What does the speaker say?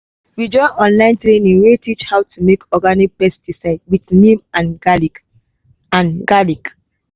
we join online training wey teach how to make organic pesticide with neem and garlic. and garlic.